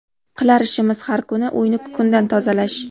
Qilar ishimiz har kuni uyni kukundan tozalash.